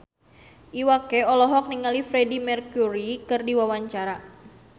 Iwa K olohok ningali Freedie Mercury keur diwawancara